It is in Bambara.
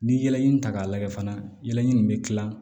Ni ye yɛlɛɲɛn ta k'a lajɛ fana ɲini bɛ kilan